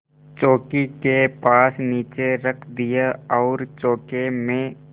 चौकी के पास नीचे रख दिया और चौके में